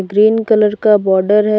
Green colour का border है।